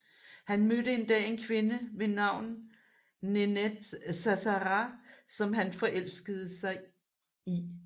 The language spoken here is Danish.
Han mødte en dag en kvinde ved navn Nenette Zazzara som han forelskede sig i